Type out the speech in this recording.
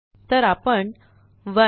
तर आपण 1